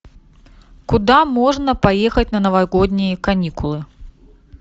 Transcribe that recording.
куда можно поехать на новогодние каникулы